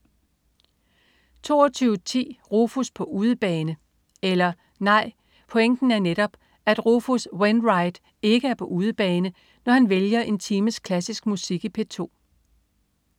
22.10 Rufus på udebane. Eller nej, pointen er netop, at Rufus Wainwright ikke er på udebane, når han vælger en times klassisk musik i P2